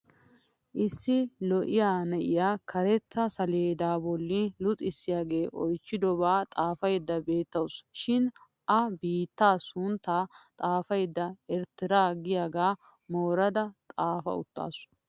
Issi lo'iyaa na'iya karetta saleedaa bolli luxissiyaagee oychidobaa xaafaydda beettawusu. Shin a biittaa sunttaa xaafaydda erittera giyagaa morada xaafa uttaasu.